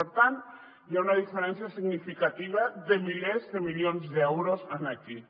per tant hi ha una diferència significativa de milers de milions d’euros aquí